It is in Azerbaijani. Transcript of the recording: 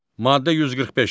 Maddə 145.